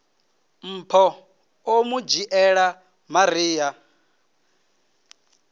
mpho o mu dzhiela maria